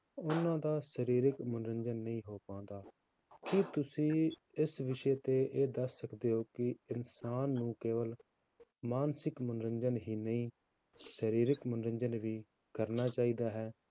ਉਹਨਾਂ ਦਾ ਸਰੀਰਕ ਮਨੋਰੰਜਨ ਨਹੀਂ ਹੋ ਪਾਉਂਦਾ, ਕੀ ਤੁਸੀਂ ਇਸ ਵਿਸ਼ੇ ਉੱਤੇ ਇਹ ਦੱਸ ਸਕਦੇ ਹੋ ਕਿ ਇਨਸਾਨ ਨੂੰ ਕੇਵਲ ਮਾਨਸਿਕ ਮਨੋਰੰਜਨ ਹੀ ਨਹੀਂ ਸਰੀਰਕ ਮਨੋਰੰਜਨ ਵੀ ਕਰਨਾ ਚਾਹੀਦਾ ਹੈ,